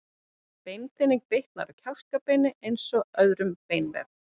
Beinþynning bitnar á kjálkabeinum eins og á öðrum beinvef.